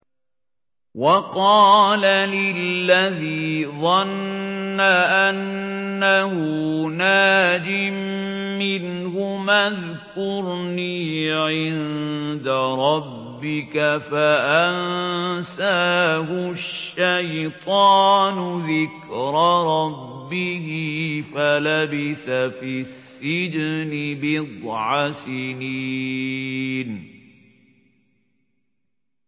وَقَالَ لِلَّذِي ظَنَّ أَنَّهُ نَاجٍ مِّنْهُمَا اذْكُرْنِي عِندَ رَبِّكَ فَأَنسَاهُ الشَّيْطَانُ ذِكْرَ رَبِّهِ فَلَبِثَ فِي السِّجْنِ بِضْعَ سِنِينَ